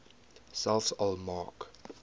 selfs al maak